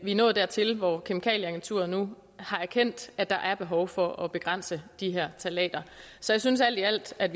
vi er nået dertil hvor kemikalieagenturet nu har erkendt at der er behov for at begrænse de her ftalater så jeg synes alt i alt at